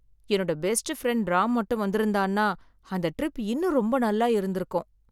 என்னோட best friend Ram மட்டும் வந்திருந்தான்னா, அந்த ட்ரிப் இன்னும் ரொம்ப நல்லா இருந்திருக்கும்.